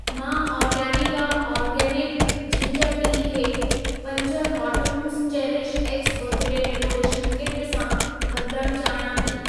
मां Organica organic ginger tea खे पंज cartons CherishX birthday decoration kit सां बदिलण चाहियां थी।